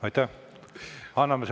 Aitäh!